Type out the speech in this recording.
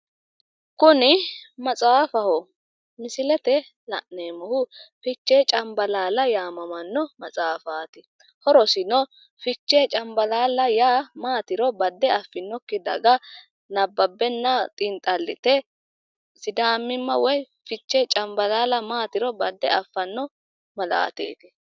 Kuni maxaafaho. Misilete la'neemmohu fichee canbalaalla yaanno maxaafaati. Horosino fichee cambalaalla yaa maatiro badde affinokki daga nabbabbenna xinxallite sidaamimma woyi fichee cambalaalla maatiro badde affanno malaateeti.